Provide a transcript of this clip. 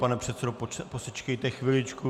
Pane předsedo, posečkejte chviličku.